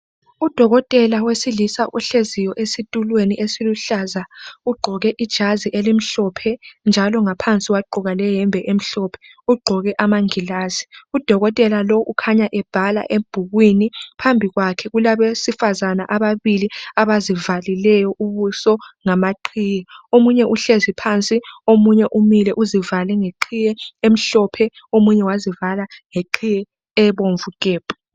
Udokotela wesilisa ohleziyo esitulweni esiluhlaza, ugqoke ijazi elimhlophe njalo ngaphansi wagqoka leyembe emhlophe. Ugqoke amangilazi. Udokotela lowu ukhanya ebhala ebhukwini. Phambi kwakhe kulabesifazana ababili abazivalileyo ubuso ngamaqhiye. Omunye uhlezi phansi, omunye umile uzivale ngeqhiye emhlophe, omunye wazivala ngeqhiye ebomvu gebhu.